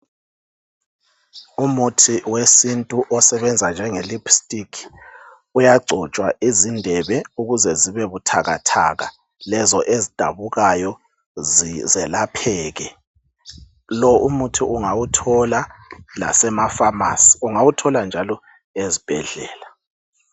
Umuthi wesintu osebenza njenge lipstick uyagcotshwa izindebe ukuze zibe buthakathaka, lezo ezidabukayo zelapheke. Lo umuthi ungawithola lasema pharmacy ungawuthola njalo ezibhedlela.